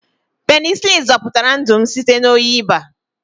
Penisilinu zọpụtara ndụ m site na oyi baa.